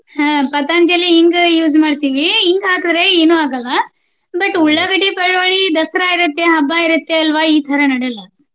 ಹ್ಮ Patanjali ಇಂಗು use ಮಾಡ್ತಿವಿ. ಇಂಗ್ ಹಾಕಿದ್ರೆ ಏನು ಆಗಲ್ಲಾ. but ಉಳ್ಳಾಗಡ್ಡಿ, ಬೆಳ್ಳುಳ್ಳಿ ದಸರಾ ಇರುತ್ತೆ ಹಬ್ಬ ಇರುತ್ತೆ ಅಲ್ವಾ ಈತರಾ ನಡಿಯಲ್ಲಾ.